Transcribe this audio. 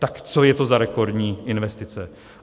Tak co je to za rekordní investice?